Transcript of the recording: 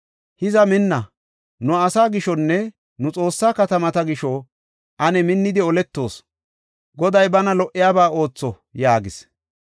Hiza minna! Nu asaa gishonne nu Xoossaa katamata gisho ane minnidi oletoos. Goday bana lo77iyaba ootho” yaagis.